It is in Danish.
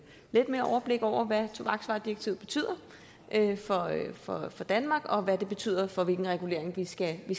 lidt mere overblik over hvad tobaksvaredirektivet betyder for danmark og hvad det betyder for hvilken regulering vi skal